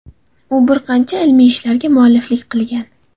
U bir qancha ilmiy ishlarga mualliflik qilgan.